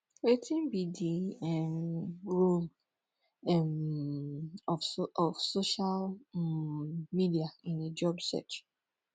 wetin be di um role um of social um media in a job search